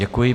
Děkuji.